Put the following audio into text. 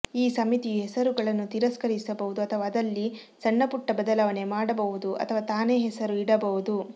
ಈ ಸಮಿತಿಯು ಹೆಸರುಗಳನ್ನು ತಿರಸ್ಕರಿಸಬಹುದು ಅಥವಾ ಅದಲ್ಲಿ ಸಣ್ಣಪುಟ್ಟ ಬದಲಾವಣೆ ಮಾಡಬಹುದು ಅಥವಾ ತಾನೇ ಹೆಸರು ಇಡಬಹುದು